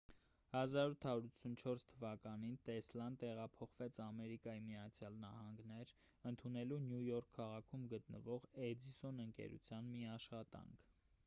1884 թվականին տեսլան տեղափոխվեց ամերիկայի միացյալ նահանգներ ընդունելու նյու յորք քաղաքում գտնվող էդիսոն ընկերության մի աշխատանք